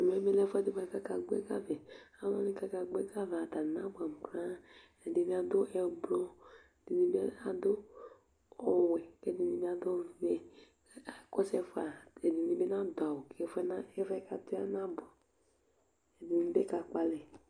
ɛmɛ bi lɛ ɛfu ɛdi boa kò aka gbɔ ɛga vɛ alo wani k'aka gbɔ ɛga vɛ atani na boɛ amo koraa ɛdi bi adu ublɔ ɛdi bi adu ɔwɛ k'ɛdini bi adu ɔvɛ k'akɔ su ɛfɛ ɛdini bi n'adu awu k'ɛfu yɛ k'atɔ yɛ ana bò ɛdini bi ka kpɔ alɛ